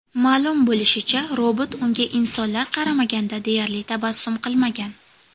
Ma’lum bo‘lishicha, robot unga insonlar qaramaganda deyarli tabassum qilmagan.